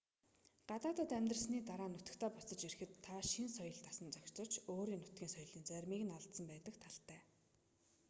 гадаадад амьдарсны дараа нутагтаа буцаж ирэхэд та шинэ соёлд дасан зохицож өөрийн нутгийн соёлын заримыг нь алдсан байдаг талтай